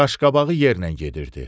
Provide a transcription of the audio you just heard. Qaşqabağı yerlə gedirdi.